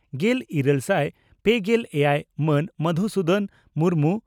ᱜᱮᱞ ᱤᱨᱟᱹᱞ ᱥᱟᱭ ᱯᱮᱜᱮᱞ ᱮᱭᱟᱭ ᱢᱟᱱ ᱢᱚᱫᱷᱥᱩᱫᱚᱱ ᱢᱩᱨᱢᱩ